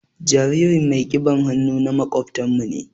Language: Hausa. Jaririn mai kiɓan hannu na makobtan mu ne.